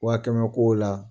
Waa kɛmɛ kow la